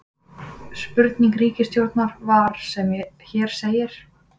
Spurning ritstjórnar var sem hér segir: